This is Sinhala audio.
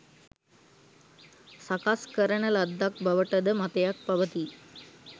සකස් කරන ලද්දක් බවට ද මතයක් පවතී.